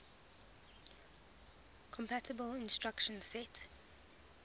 compatible instruction set